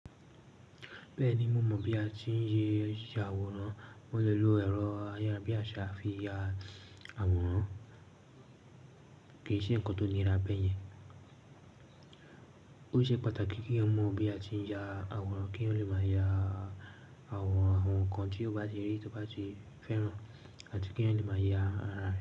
Bẹ́ẹ̀ni, mo mọ̀ bí a ti ń ṣe ya àwòrán. Mo lè lo ẹ̀rọ ayárabíaṣa fi ya àwòrán. Kì í ṣe nǹkan tó nira bẹ́ẹ̀ yẹn. Ó ṣe pàtàkì kí yan mọ̀ bí a ti ń ya àwòrán, kí yan lè máa ya àwòrán àwọn ǹkan tí o bá ti rí tí o bá ti fẹ́ràn àti kí yan lè máa ya ara rẹ.